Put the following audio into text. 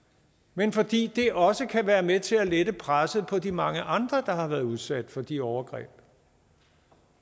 men fordi det også kan være med til at lette presset på de mange andre der har været udsat for de overgreb